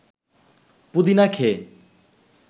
পুদিনা খেয়ে